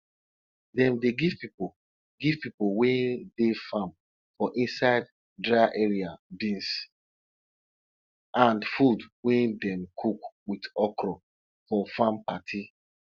dem dey give pipo give pipo wey dey farm for inside dry area beans and food wey dem cook with okro for farm party